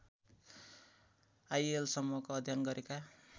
आइएलसम्मको अध्ययन गरेका